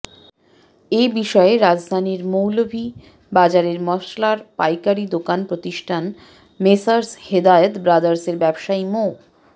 এ বিষয়ে রাজধানীর মৌলভীবাজারের মসলার পাইকারি প্রতিষ্ঠান মেসার্স হেদায়েত ব্রাদার্সের ব্যবসায়ী মো